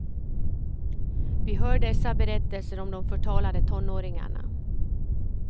Vi hör dessa berättelser om de förtalade tonåringarna.